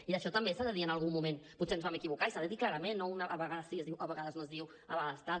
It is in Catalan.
i d’això també s’ha de dir en algun moment potser ens vam equivocar i s’ha de dir clarament i no a vegades sí es diu a vegades no es diu a vegades tal